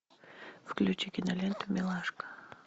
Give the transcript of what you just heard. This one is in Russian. включи киноленту милашка